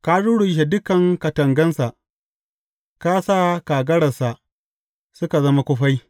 Ka rurrushe dukan katangansa ka sa kagaransa suka zama kufai.